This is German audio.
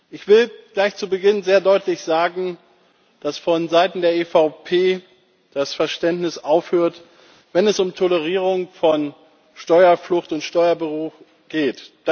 Ich will gleich zu Beginn sehr deutlich sagen, dass vonseiten der EVP das Verständnis aufhört, wenn es um Tolerierung von Steuerflucht und Steuerbetrug geht.